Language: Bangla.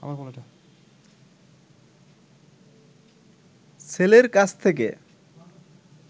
ছেলের কাছ থেকে